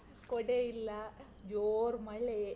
ಕೊಡೆಯಿಲ್ಲ , ಜೋರ್ ಮಳೆ.